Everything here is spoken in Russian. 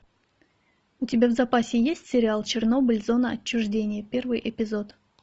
у тебя в запасе есть сериал чернобыль зона отчуждения первый эпизод